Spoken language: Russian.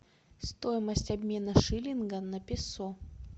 стоимость обмена шиллинга на песо